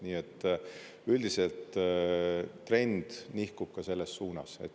Nii et üldiselt trend nihkub ka selles suunas.